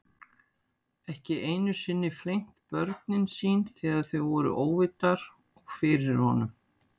Ekki einu sinni flengt börnin sín þegar þau voru óvitar og fyrir honum.